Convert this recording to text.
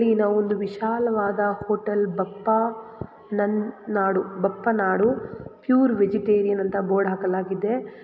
ಇಲ್ಲಿ ಒಂದು ವಿಶಾಲವಾದ hotel Bappanadu Bappanadu pure vegetarian ಅಂತ ಬೋರ್ಡ್ ಹಾಕಲಾಗಿದೆ.